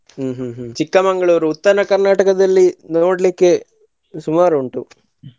ಹ್ಮ್ ಹ್ಮ್ ಹ್ಮ್ Chikmagalur, Uttara Karnataka ದಲ್ಲಿ ನೋಡ್ಲಿಕ್ಕೆ ಸುಮಾರು ಉಂಟು.